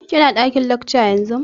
Ki na ɗakin lacca yanzu?